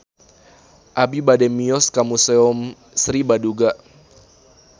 Abi bade mios ka Museum Sri Baduga